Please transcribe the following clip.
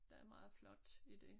Der meget flot i dét